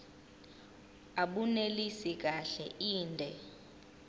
abunelisi kahle inde